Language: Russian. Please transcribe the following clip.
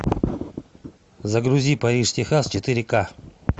загрузи париж техас четыре ка